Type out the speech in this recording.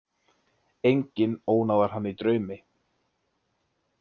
Enginn ónáðar hann í draumi.